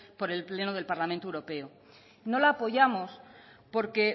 por el pleno del parlamento europeo no la apoyamos porque